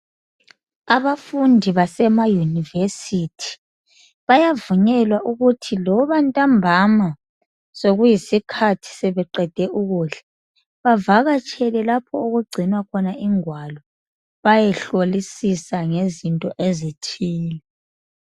Abafundi basemayunivesithi, bayavunyelwa ukuthi loba ntambama sokuyisikhathi sebeqede ukudla. Bavakatshele lapho okugcinwa khona ingwalo bayehlolisisa ngezinto ezithile.